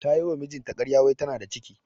Ta yi wa mijinta ƙarya wai tana da ciki.